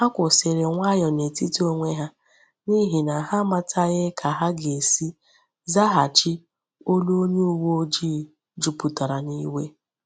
Ha kwusịrị nwayọọ n’etiti onwe ha, n’ihi na ha amataghị ka ha ga-esi zaghachi olu onye uwe ojii juputara n’iwe.